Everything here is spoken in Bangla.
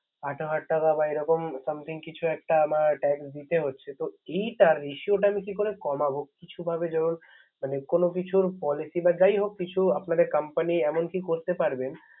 আঠারো হাজার বা এরকম Something কিছু একটা আমাকেTax দিতে হচ্ছে । তো এইটার Ratio টা কি করে কমাবো। কিছু ভাবে যেমন কোন কিছুর Policy বা যাই হোক কিছু আপনাদের Compay এমন কি করতে পারবেন।